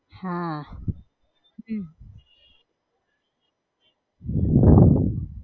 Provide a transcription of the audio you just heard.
હા હમ